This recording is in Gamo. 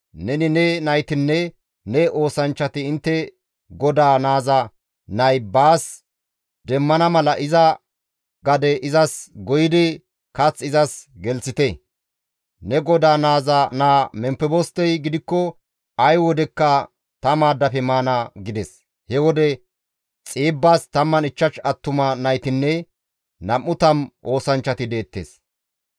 Neni, ne naytinne ne oosanchchati intte godaa naaza nay baas demmana mala iza gade izas goyidi kath izas gelththite; ne godaa naaza naa Memfebostey gidikko ay wodekka ta maaddafe maana» gides. He wode Xiibbas 15 attuma naytinne 20 oosanchchati deettes.